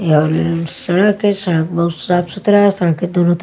सड़क है सड़क बहुत साफ सुथरा है सड़क के दोनों तरफ --